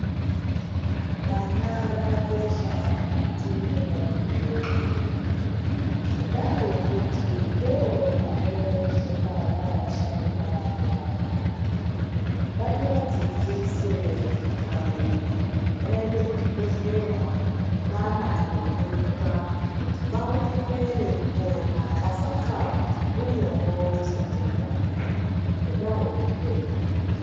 Vana vakakosha mukati mendaramo yedu nenyaya yekuti ndivo vanozova vava sharukwa vemangwani ngativadzidzise vabereki kuti vaende kuzvibhehlera nevana veionekwa kuti vaonekwe veipona vasafa nguwa yavo isati yakwana nenyaya yezvitenda.